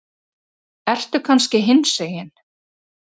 Ertu kannski hinsegin?